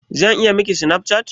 Zan iya Miki Snapchat?